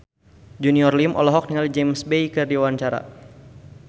Junior Liem olohok ningali James Bay keur diwawancara